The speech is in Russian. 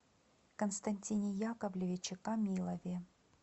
константине яковлевиче камилове